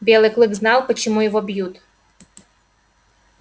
белый клык знал почему его бьют